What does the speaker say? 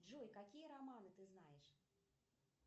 джой какие романы ты знаешь